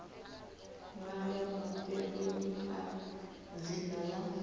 ṅwalwa mafheloni a dzina ḽa